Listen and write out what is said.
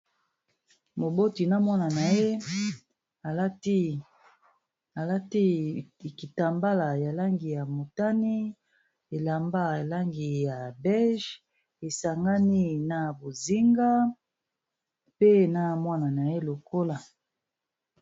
Moboti na mwana na ye alati likitambala ya langi ya motani elamba langi ya beige esangani na bozinga pe na mwana na ye lokola.